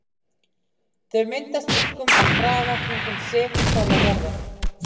Þau myndast einkum á kraga kringum segulpóla jarðar.